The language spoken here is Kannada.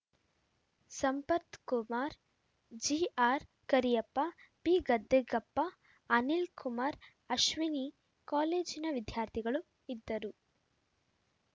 ಸಂಪತ್‌ಕುಮಾರ್‌ ಜಿಆರ್‌ಕರಿಯಪ್ಪ ಪಿಗದ್ದಿಗೆಪ್ಪ ಅನಿಲ್‌ಕುಮಾರ್‌ ಅಶ್ವಿನಿ ಕಾಲೇಜಿನ ವಿದ್ಯಾರ್ಥಿಗಳು ಇದ್ದರು